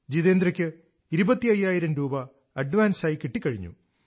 ജിതേന്ദ്രക്ക് ഇരുപത്തയ്യായിരം രൂപ അഡ്വാൻസ് ആയി കിട്ടി കഴിഞ്ഞു